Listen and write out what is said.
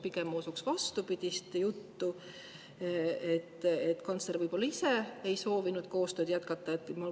Pigem usuks ma vastupidist juttu, et kantsler võib-olla ise ei soovinud koostööd jätkata.